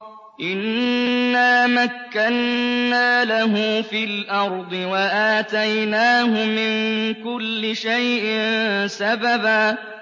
إِنَّا مَكَّنَّا لَهُ فِي الْأَرْضِ وَآتَيْنَاهُ مِن كُلِّ شَيْءٍ سَبَبًا